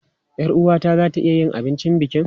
Yar uwata za ta iya yin abincin bukin.